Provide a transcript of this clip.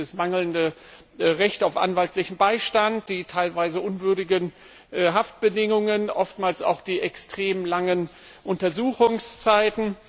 Etwa das mangelnde Recht auf anwaltlichen Beistand, die teilweise unwürdigen Haftbedingungen, oftmals auch die extrem langen Untersuchungszeiten.